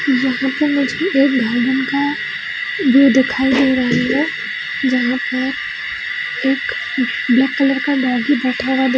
यहाँ पर मुझे एक घर बनता भी दिखाई दे रहा है जहाँ पर एक ब्लैक कलर का बैठा हुआ --